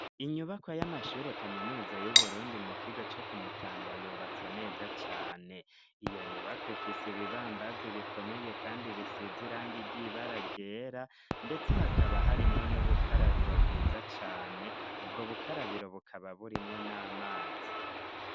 Inyubakwa y'amashuri kaminuza y'uburundi mu kigo co kumutanga yubatse neza cane iyo nyubako ifise ibibambazi bikomeye kandi bisizirang igyibaragera ndetse hakaba harimwo n'ubukarabiro bwiza cyane ubwo bukarabiro bukaba burimwo n'amazi.